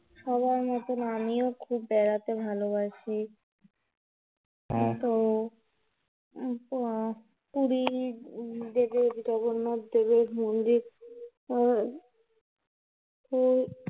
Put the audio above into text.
সবার মত আমিও খুব বেড়াতে ভালোবাসি এইতো, পুরীর জগন্নাথ দেবের মন্দির, আহ উম